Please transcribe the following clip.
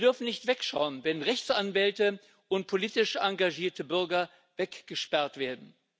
Wir dürfen nicht wegschauen, wenn Rechtsanwälte und politisch engagierte Bürger weggesperrt werden.